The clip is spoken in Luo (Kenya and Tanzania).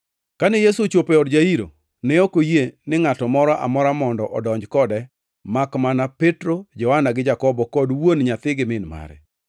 Kane ochopo e od Jairo, ne ok oyie ni ngʼato moro amora mondo odonj kode makmana Petro, Johana gi Jakobo kod wuon nyathi gi min mare.